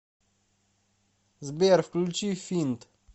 сбер включи финд